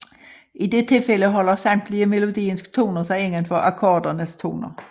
I det tilfælde holder samtlige melodiens toner sig indenfor akkordernes toner